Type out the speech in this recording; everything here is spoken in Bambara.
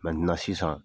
sisan